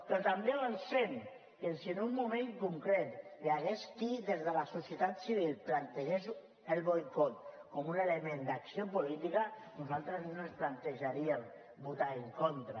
però també avancem que si en un moment concret hi hagués qui des de la societat civil plantegés el boicot com un element d’acció política nosaltres no ens plantejaríem votar hi en contra